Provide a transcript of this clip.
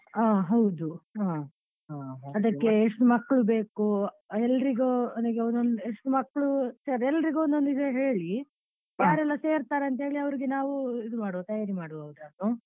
ಹಾ ಹೌದು ಹಾ ಅದಕ್ಕೆ ಮಕ್ಕಳು ಬೇಕು ಎಲ್ಲ್ರಿಗೂ ಎಷ್ಟು ಮಕ್ಳು ಎಲ್ಲ್ರಿಗೂ ಒಂದೊಂದು ಇದು ಹೇಳಿ ಯಾರೆಲ್ಲಾ ಸೇರ್ತಾರೆ ಅಂತ ಹೇಳಿ ಅವ್ರಿಗೆ. ನಾವು ಇದು ಮಾಡ್ವ ಅಂತ ತಯಾರಿ ಮಾಡ್ವ ಅವ್ರನ್ನು.